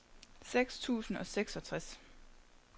seks tusind og seksogtres